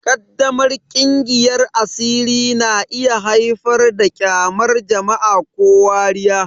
Ƙaddamar kingiyar asiri na iya haifar da ƙyamar jama'a ko wariya.